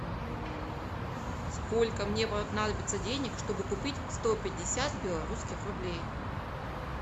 сколько мне понадобится денег чтобы купить сто пятьдесят белорусских рублей